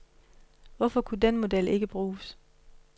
Hvorfor kunne den model ikke bruges?